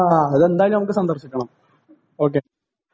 ആ അത് എന്തായാലും നമുക്ക് സന്ദർശിക്കണം ഓ കെ